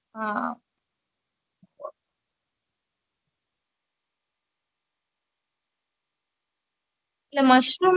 veg பிரியாணில mushroom அஹ் பண்ணீர் அஹ் baby baby corn ஆஹ் அஹ் இல்ல வெறும் plain